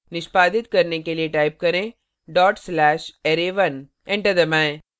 निष्पादित करने के लिए type करें dot slash array1 enter दबाएं